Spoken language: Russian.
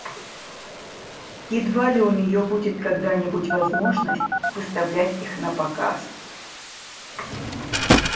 едва ли у нее будет когда-нибудь возможность выставлять их напоказ